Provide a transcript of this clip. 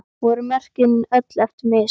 Voru mörkin öll eftir mistök?